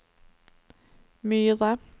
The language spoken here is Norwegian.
Myre